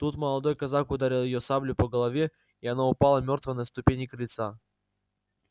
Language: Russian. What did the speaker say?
тут молодой казак ударил её саблею по голове и она упала мёртвая на ступени крыльца